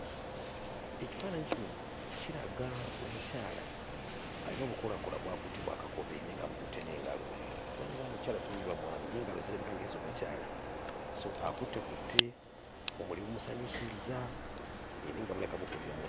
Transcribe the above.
Ekifaananyi kino kiraga omukyala ayina obukoolakoola bw'akutte bwa kakobe naye ng'abukutte n'engalo simanyi oba mukyala oba mwami naye engalo zirabika ng'ez'omukyala so akuttekutte, obumuli bumusanyusizza ee naye nga bulabika bukulira mu...